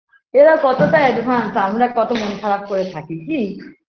এরা কতটা advance আমরা কত মন খারাপ করে থাকি কী